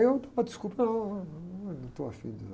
Eu estava a desculpa, não, não, não, eu não estou afim disso.